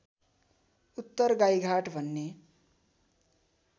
उत्तर गाईघाट भन्ने